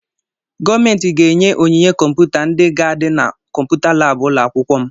Gọọmenti ga-enye onyinye kọmputa ndị ga-adị na kọmputa laabụ ụlọ akwụkwọ m.